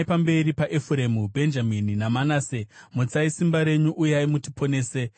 pamberi paEfuremu, Bhenjamini naManase. Mutsai simba renyu; uyai mutiponese.